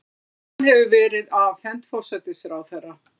Skýrslan hefur verið afhent forsætisráðherra